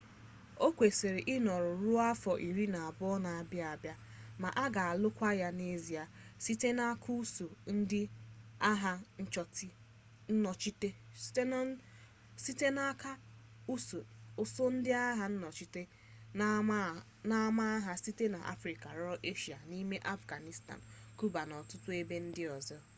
o kwesịrị ịnọru ruo afọ iri anọ na-abịa abịa ma a ga-alụkwa ya n'ezie site n'aka ụsụụ ndị agha nnọchite n'ama agha site n'afrịka ruo eshia n'ime afghanistan kiuba na ọtụtụ ebe ndị ọzọ